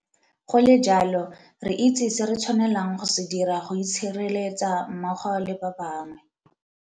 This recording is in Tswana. Go le jalo, re itse se re tshwanelang go se dira go itshireletsa mmogo le ba bangwe.